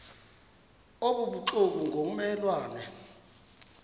obubuxoki ngomme lwane